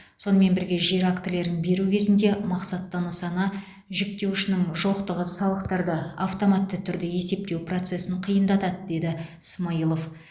сонымен бірге жер актілерін беру кезінде мақсатты нысана жіктеуішінің жоқтығы салықтарды автоматты түрде есептеу процесін қиындатады деді смайылов